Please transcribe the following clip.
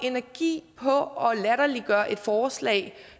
energi på at latterliggøre et forslag